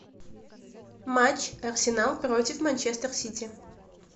матч арсенал против манчестер сити